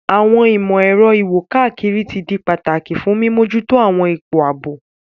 Àwọn ìmò-èro iwo-kakiri ti di pataki fun mimojuto àwọn ipo aabo.